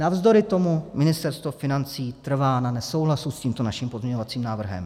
Navzdory tomu Ministerstvo financí trvá na nesouhlasu s tímto naším pozměňovacím návrhem.